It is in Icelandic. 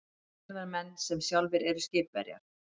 Útgerðarmenn sem sjálfir eru skipverjar.